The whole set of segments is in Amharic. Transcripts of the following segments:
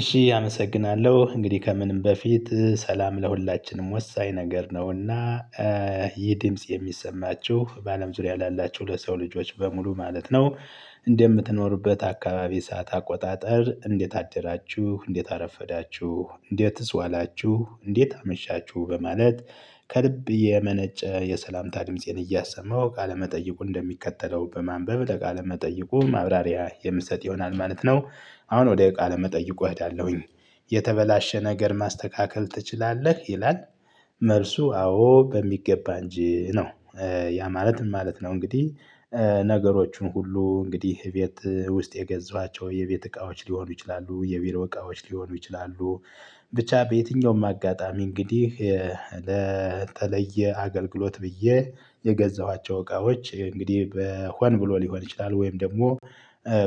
እሺ አመሰግናለሁ እንግዲህ ከምንም በፊት ሰላም ለሁላችንም ወሳኝ ነገር ነውና። ይህ ድምጽ የሚሰማችሁ በአለም ዙሪያ ላላችሁ ለሰው ልጆች በሙሉ ማለት ነው። እንደምትኖሩበት አካባቢ ሰዓት አቆጣጠር እንዴት አደራችሁ እንዴት አረፈዳችሁ እንዴትስ ዋላችሁ እንዴት አመሻችሁ በማለት። ከልብ የመነጨ የሰላምታ ድምፄን እያሰማው ቃለመጠየቁ እንደሚከተለው በማንበብ ለቃለ መጠይቁ ማብራሪያ የምሰጥ ይሆናል ማለት ነው። አሁን ወደ ቃለ መጠይቁ እሄዳለሁኝ። የተበላሸ ነገር ማስተካከል ትችላለህ ይላል? መልሱ አዎ በሚገባ እንጂ ነው። ያ ማለት ምን ማለት ነው እንግዲህ? ነገሮቹን ሁሉ እንግዲህ ቤት ውስጥ የገዛዋቸው የቤት እቃዎች ሊሆኑ ይችላሉ የቢሮ እቃዎች ሊሆኑ ይችላሉ። ብቻ በየትኛውም አጋጣሚ እንግዲህ። ለተለየ አገልግሎት ብዬ የገዛኋቸው እቃዎች እንግዲህ በሆን ብሎ ሊሆን ይችላል ወይም ደግሞ።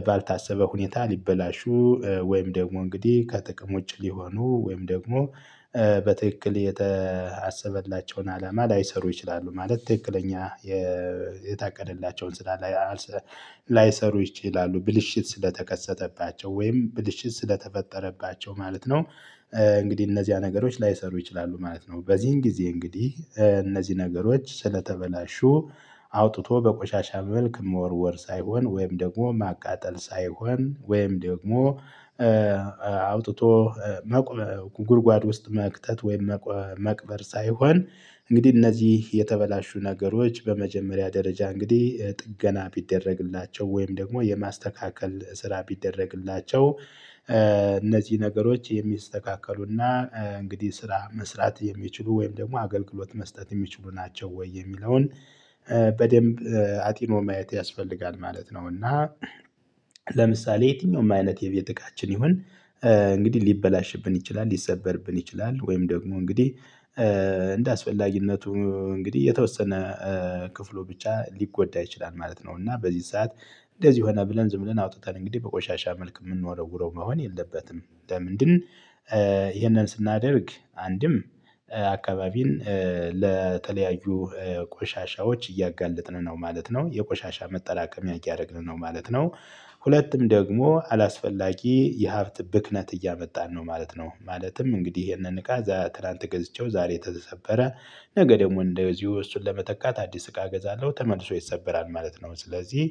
ባልታሰበ ሁኔታ ሊበላሹ ወይም ደግሞ እንግዲህ ከጥቅም ውጭ ሊሆኑ ወይም ደግሞ። በትክክል የተ አሰበላቸውን አላማ ላይሰሩ ይችላሉ ማለት ትክክለኛ የ የታቀደላቸውን ስራ። ላይሰሩ ይችላሉ ብልሽት ስለተከሰተባቸው ወይም ብልሽት ስለተፈጠረባቸው ማለት ነው። እንግዲህ እነዚያ ነገሮች ላይሰሩ ይችላሉ ማለት ነው። በዚህን ጊዜ እንግዲህ እነዚህ ነገሮች ስለተበላሹ። አውጥቶ በቆሻሻ መልክ ሞወርወር ሳይሆን ወይም ደግሞ ማቃጠል ሳይሆን ወይም ደግሞ አውጥቶ መቁረ ጉድጓድ ውስጥ መክተት ወይም መቅበር ሳይሆን እንግዲህ እነዚህ የተበላሹ ነገሮች በመጀመሪያ ደረጃ እንግዲህ ጥገና ቢደረግላቸው ወይም ደግሞ የማስተካከል ስራ ቢደረግላቸው። እነዚህ ነገሮች የሚስተካከሉና እንግዲህ ስራ መስራት የሚችሉ ወይም ደግሞ አገልግሎት መስጠት የሚችሉ ናቸው ወይ የሚለውን በደንብ አጢኖ ማየት ያስፈልጋል ማለት ነው። እና ለምሳሌ የትኛውም አይነት የቤት እቃችን ይሁን። እንግዲህ ሊበላሽብን ይችላል ሊሰበርብን ይችላል ወይም ደግሞ እንግዲህ እንደ አስፈላጊነቱ እንግዲህ የተወሰነ ክፍሉ ብቻ ሊጎዳ ይችላል ማለት ነው እና በዚህ ሰዓት። እንደዚህ ሆነ ብለን ዝም ብለን አውጥተን እንግዲህ በቆሻሻ መልክ ምንወረውረው መሆን የለበትም ለምንድን? ይህንን ስናደርግ አንድም አካባቢን ለተለያዩ ቆሻሻዎች እያጋለጥን ነው ማለት ነው የቆሻሻ መጠላቀም እያደረግን ነው ማለት ነው። ሁለትም ደግሞ አላስፈላጊ የሀብት ብክነት እያመጣን ነው ማለት ነው። ማለትም እንግዲህ ይሄንን እቃ ትላንት ገዝቼው ዛሬ ተሰበረ። ነገ ደግሞ እንደዚሁ እሱን ለመተካት አዲስ እቃ ገዛለው ተመልሶ ይሰበራል ማለት ነው ስለዚህ።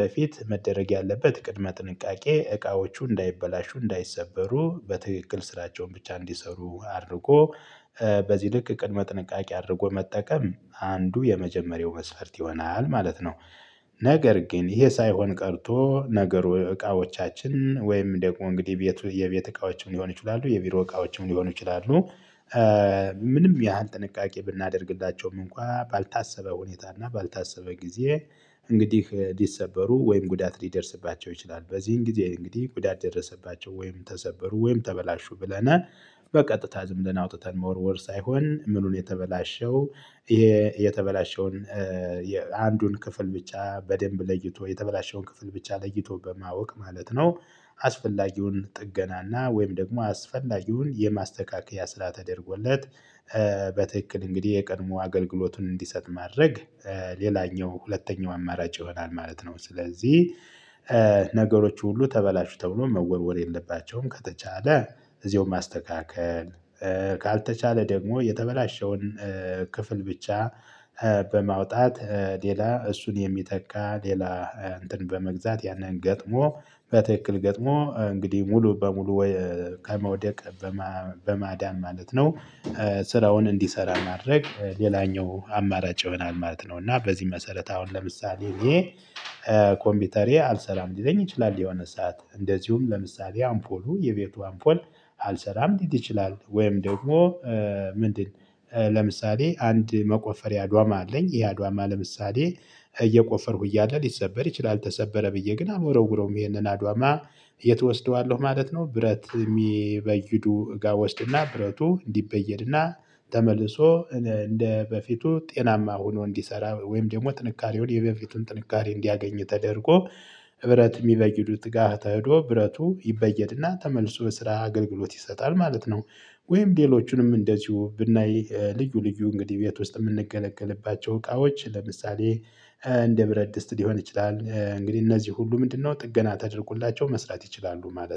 በፊት መደረግ ያለበት ቅድመ ጥንቃቄ እቃዎቹ እንዳይበላሹ እንዳይሰበሩ በትክክል ስራቸውን ብቻ እንዲሰሩ አድርጎ በዚህ ልክ ቅድመ ጥንቃቄ አድርጎ መጠቀም አንዱ የመጀመሪያው መስፈርት ይሆናል ማለት ነው። ነገር ግን ይሄ ሳይሆን ቀርቶ ነገሩ እቃዎቻችን ወይም ደግሞ እንግዲህ የቤት የቤት እቃዎችም ሊሆን ይችላሉ የቢሮ እቃዎችም ሊሆን ይችላሉ። ምንም ያህል ጥንቃቄ ብናደርግላቸውም እንኳን ባልታሰበ ሁኔታ እና ባልታሰበ ጊዜ። እንግዲህ ሊሰበሩ ወይም ጉዳት ሊደርስባቸው ይችላል በዚህን ጊዜ እንግዲህ ጉዳት ደረሰባቸው ወይም ተሰበሩ ወይም ተበላሹ ብለናል በቀጥታ ዝም ብለን አውጥተን መወርወር ሳይሆን ምኑ ነው የተበላሸው? ይሄ የተበላሸውን የአንዱን ክፍል ብቻ በደንብ ለይቶ የተበላሸውን ክፍል ብቻ ለይቶ በማወቅ ማለት ነው። አስፈላጊውን ጥገናና ወይም ደግሞ አስፈላጊውን የማስተካከያ ስራ ተደርጎለት። በትክክል እንግዲህ የቀድሞ አገልግሎቱን እንዲሰጥ ማድረግ። ሌላኛው ሁለተኛው አማራጭ ይሆናል ማለት ነው ስለዚህ። ነገሮች ሁሉ ተበላሽተው ነው መወርወር የለባቸውም ከተቻለ እዚሁ ማስተካከል። ካልተቻለ ደግሞ የተበላሸውን ክፍል ብቻ። በማውጣት ሌላ እሱን የሚተካ ሌላ እንትን በመግዛት ያንን ገጥሞ በትክክል ገጥሞ እንግዲህ ሙሉ በሙሉ ወይ ከመውደቅ በማ በማዳን ማለት ነው። ስራውን እንዲሰራ ማድረግ ሌላኛው አማራጭ ይሆናል ማለት ነው። እና በዚህ መሰረት አሁን ለምሳሌ እኔ ኮምፒውተሬ አልሰራም ሊለኝ ይችላል የሆነ ሰዓት እንደዚሁም ለምሳሌ አምፖሉ የቤቱ አምፖል። አልሰራም ሊል ይችላል ወይም ደግሞ። ምንድን? ለምሳሌ አንድ መቆፈሪያ ድዋማ አለኝ ይሄ አድዋማ ለምሳሌ እየቆፈርኩ እያለ ሊሰበር ይችላል ተሰበረ ብዬ ግን አልወረውረውም ይሄንን አድዋማ። የት ወስደዋለሁ ማለት ነው። ብረት የሚበይዱ እጋ ወስድና ብረቱ እንዲበየድና ተመልሶ እንደ በፊቱ ጤናማ ሆኖ እንዲሰራ ወይም ደግሞ ጥንካሬውን የበፊቱን ጥንካሬ እንዲያገኝ ተደርጎ እብረት የሚበይዱት ጋር ተህዶ ብረቱ ይበየድና ተመልሶ የስራ አገልግሎት ይሰጣል ማለት ነው። ወይም ሌሎቹንም እንደዚሁ ብናይ ልዩ ልዩ እንግዲህ ቤት ውስጥ የምንገለገልባቸው እቃዎች ለምሳሌ። እንደ ብረት ድስት ሊሆን ይችላል እንግዲህ እነዚህ ሁሉ ምንድነው ጥገና ተደርቁላቸው መስራት ይችላሉ ማለት ነው